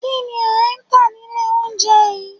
Kínni ẹ ntà nílé oúnjẹ yìí?